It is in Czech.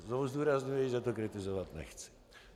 Znovu zdůrazňuji, že to kritizovat nechci.